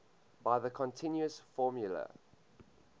by the continuous formula